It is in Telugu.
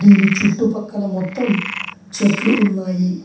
దీని చుట్టుపక్కల మొత్తం చెట్లు ఉన్నాయి.